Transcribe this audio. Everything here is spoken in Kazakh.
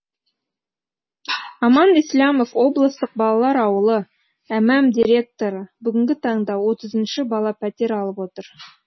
аман ислямов облыстық балалар ауылы мм директоры бүгінгі таңда отызыншы бала пәтер алып отыр